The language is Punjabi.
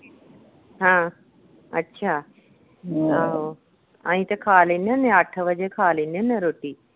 ਹਾਂ, ਅੱਛਾ ਆਹੋ ਅਹੀ ਤੇ ਖਾ ਲੈਣੇ ਹੁੰਦੇ ਹਾਂ, ਅੱਠ ਵਜੇ ਖਾ ਲੈਣੇ ਹੁੰਦੇ ਆਂ ਰੋਟੀ।